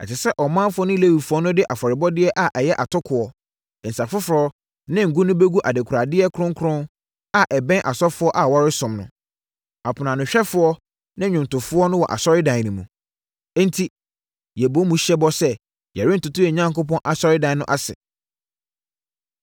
Ɛsɛ sɛ ɔmanfoɔ no ne Lewifoɔ no de afɔrebɔdeɛ a ɛyɛ atokoɔ, nsã foforɔ ne ngo no bɛgu adekoradeɛ kronkron a ɛbɛn asɔfoɔ a wɔresom no, aponoanohwɛfoɔ ne nnwomtofoɔ no wɔ Asɔredan no mu. “Enti, yɛbɔ mu hyɛ bɔ sɛ yɛrentoto yɛn Onyankopɔn Asɔredan no ase.”